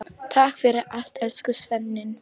Takk fyrir allt, elsku Svenni.